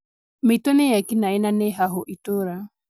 Mĩitũ nĩ ekinaĩ na nĩ hahũ itũra